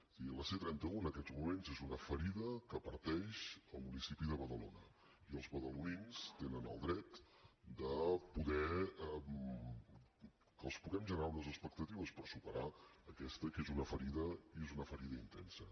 és a dir la ctrenta un en aquests moments és una ferida que parteix el municipi de badalona i els badalonins tenen el dret que els puguem generar unes expectatives per superar aquesta que és una ferida i és una ferida intensa